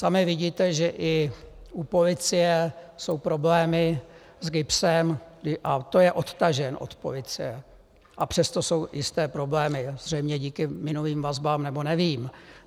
Sami vidíte, že i u policie jsou problémy s GIBSem, a to je odtažen od policie, a přesto jsou jisté problémy zřejmě díky minulým vazbám, nebo nevím.